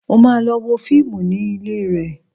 Mo máa lọ wo fíìmù ní ilé rẹ̀